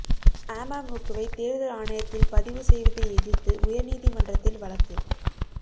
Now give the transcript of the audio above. அமமுகவை தோ்தல் ஆணையத்தில் பதிவு செய்வதை எதிா்த்து உயா் நீதிமன்றத்தில் வழக்கு